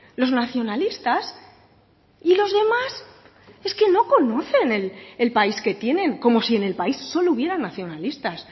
los nacionalistas y los demás es que no conocen el país que tienen como si en el país solo hubieran nacionalistas